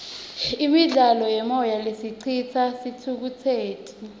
imidlalo yemoya lesicitsa sithukutseti